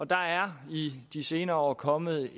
der er i de senere år kommet